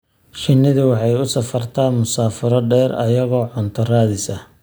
Shinnidu waxay u safartaa masaafo dheer iyagoo cunto raadis ah.